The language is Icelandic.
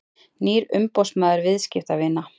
Nýr umboðsmaður viðskiptavina